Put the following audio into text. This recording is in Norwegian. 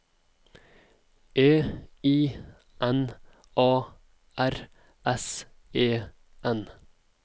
E I N A R S E N